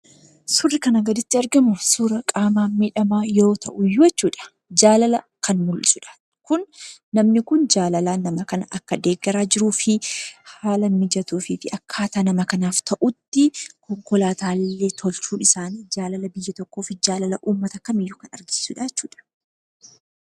Suurri kanaa gaditti argimu, suuraa qaama miidhamaa yoo ta'uyyuu jechuudha, Jaalala kan mul'isudha. Kun namni kun jaalalan nama kana akka deeggaraa jiruufi haala mijatuufi akkaataa nama kanaaf ta'utti konkolaataanillee tolchuun isaanii jaalala biyya tokkofi jaalala uummata kamiiyyuu kan agarsiisudha jechuudha.